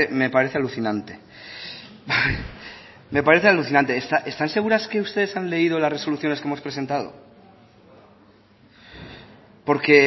me parece alucinante me parece alucinante están seguras que ustedes han leído las resoluciones que hemos presentado porque